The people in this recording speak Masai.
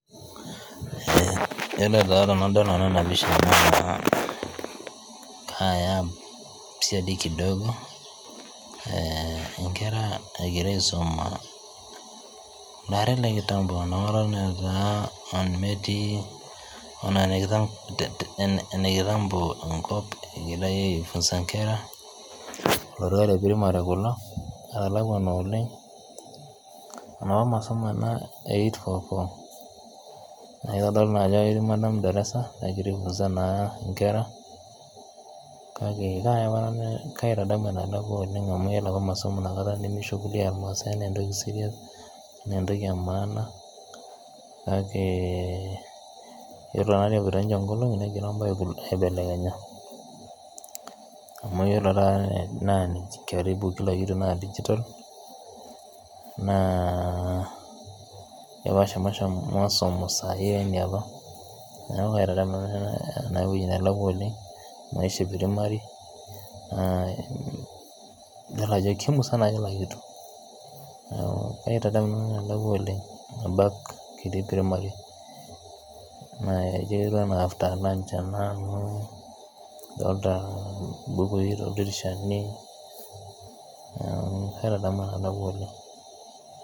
Yolotaa tenadol nanu ena pisha naa kaaya siadi CS[kidogo]CS inkera egira aisuma CS[kitambo]CS eton ee ene CS[kitambo]CS enkop egirai aifunza inkera le CS[primary]CS kulo etalakuana oleng' enapa masomonena e CS[8.4.4]CS naa kitodolu naa ajo ketii CS[madam darasa]CS nagira aifunzaa naa inkera kake kaaya ,kaitadamu enelakua amu ore apa masomo inakata nemechukulia irmaasai anaa entoki CS[serious]CS anaa entoki CS[maana]CS, ore naatoi epoito nkolong'i negira im'baa aibelekenya ore karibu kila kitu naa CS[digital]CS kepaasha masomo ee saa hii alang' ene apa neeku kaitadamu nanu ena ewoji nelakwa oleng maisha e CS[primary]CS dolita ajo kemusana CS[kila kitu]CS kaitadamu naa enelakwa oleng' CS[back]CS kitii primary ketiu enaa CS[after lunch]CS ena amu dolita im'bukui CS[dirisha]CS neeku kaitadamu enelakwa oleng'